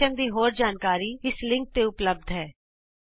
ਇਸ ਮਿਸ਼ਨ ਦੀ ਹੋਰ ਜਾਣਕਾਰੀ ਇਸ ਲਿੰਕ ਤੇ ਉਪਲੱਭਦ ਹੋ